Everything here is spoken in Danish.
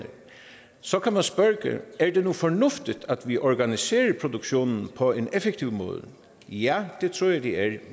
så kan man spørge er det nu fornuftigt at vi organiserer produktionen på en effektiv måde ja det tror jeg det er